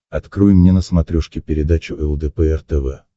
открой мне на смотрешке передачу лдпр тв